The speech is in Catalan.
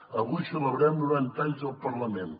avui celebrem noranta anys del parlament